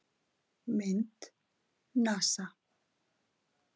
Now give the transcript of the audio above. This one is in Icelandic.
Mynd: NASA.